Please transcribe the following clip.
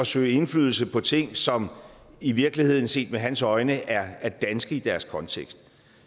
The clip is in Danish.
søge indflydelse på ting som i virkeligheden set med hans øjne er er danske i deres kontekst